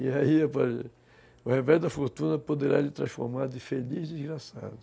E aí, o revés da fortuna poderá lhe transformar de feliz, desgraçado.